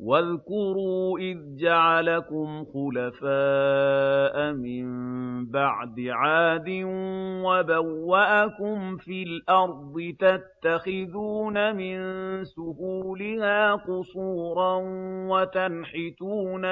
وَاذْكُرُوا إِذْ جَعَلَكُمْ خُلَفَاءَ مِن بَعْدِ عَادٍ وَبَوَّأَكُمْ فِي الْأَرْضِ تَتَّخِذُونَ مِن سُهُولِهَا قُصُورًا وَتَنْحِتُونَ